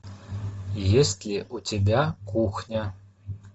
есть ли у тебя кухня